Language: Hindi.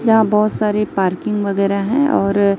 यहां बहोत सारी पार्किंग वगैरा है और--